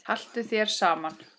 Haltu þér saman